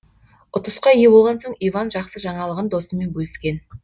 ұтысқа ие болған соң иван жақсы жаңалығын досымен бөліскен